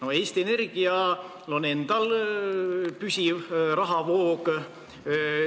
Aga Eesti Energial on endal püsiv rahavoog.